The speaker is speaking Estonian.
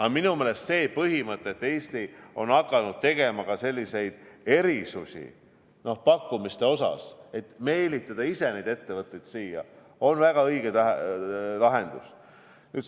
Aga minu meelest see põhimõte, et Eesti on hakanud tegema ka erisusi pakkumiste osas, et meelitada neid ettevõtteid siia, on väga õige lahendus.